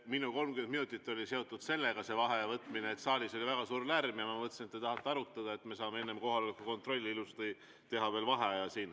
Minu 30 minutit, see vaheaja võtmine, oli seotud sellega, et saalis oli väga suur lärm ja ma mõtlesin, et te tahate arutada ja me saame enne kohaloleku kontrolli ilusti teha veel vaheaja.